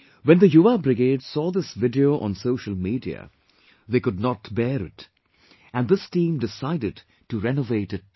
When the Yuva brigade saw this video on social media they could not bear it and this team decided to renovate it together